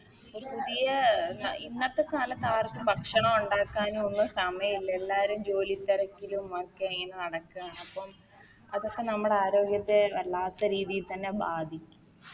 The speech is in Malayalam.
ഒരു പതിയെ ഇന്നത്തെ കാലത്ത് ആർക്കും ഭക്ഷണം ഒണ്ടാക്കാനും ഒന്നും സമയില്ല എല്ലാരും ജോലി തെരക്കിലും ഒക്കെ ഇങ്ങനെ നടക്കാണ് അപ്പം അതൊക്കെ നമ്മുടെ ആരോഗ്യത്തെ വല്ലാത്ത രീതി തന്നെ ബാധിക്കും